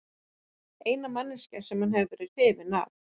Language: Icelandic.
Eina manneskjan sem hann hefur verið hrifinn af.